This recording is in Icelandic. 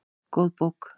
Góð bók